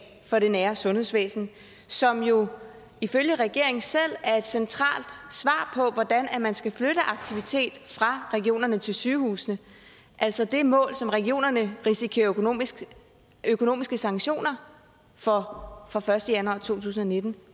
for det nære sundhedsvæsen som jo ifølge regeringen selv er et centralt svar på hvordan man skal flytte aktivitet fra regionerne til sygehusene altså det mål som regionerne risikerer økonomiske økonomiske sanktioner for fra første januar 2019